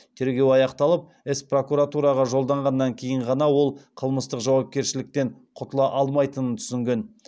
тергеу аяқталып іс прокуратураға жолданғаннан кейін ғана ол қылмыстық жауапкершіліктен құтыла алмайтынын түсінген